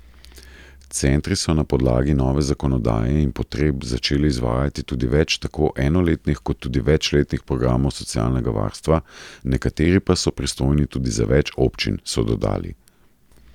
Centri so na podlagi nove zakonodaje in potreb začeli izvajati tudi več tako enoletnih kot tudi večletnih programov socialnega varstva, nekateri pa so pristojni tudi za več občin, so dodali.